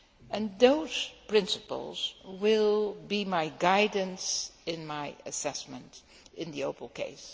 And those principles will be my guidance in my assessment in the Opel case.